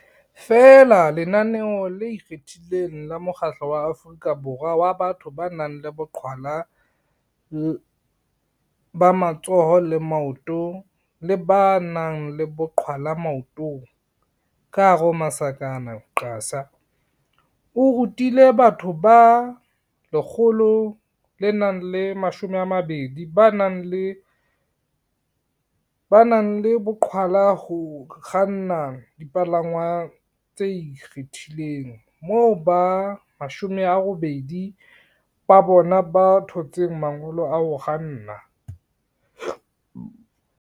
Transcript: Feela lenaneo le ikgethileng la Mokgatlo wa Aforika Borwa wa Batho ba nang le Boqhwa la ba Matsoho le Maoto le ba nang le Boqhwala Maotong, QASA, o rutile batho ba 120 ba nang le boqhwala ho kganna dipalangwang tse ikgethileng, moo ba 80 ba bona ba thotseng mangolo a ho kganna.